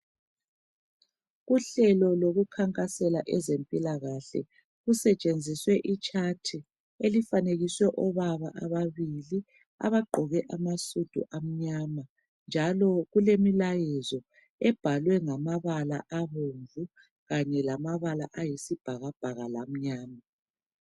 Uhlelo lokukhankasela ezempilakahle. Kusetshenziswe itshathi elifanekiswe obaba ababili abagqoke amasudu amnyama, njalo kulemilayezo ebhalwe ngamabala abomvu kanye lamabala ayisibhakabhaka lamnyama.